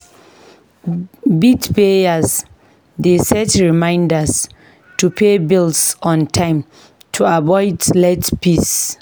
Bill payers dey set reminders to pay bills on time to avoid late fees.